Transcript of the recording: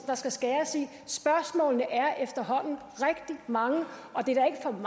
der skal skæres i spørgsmålene er efterhånden rigtig mange og det er